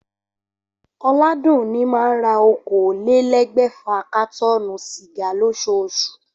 Oládùnní máa n ra okòólélé̩́gbè̩fà kátó̩ò̩nù sìgá lós̩oos̩ù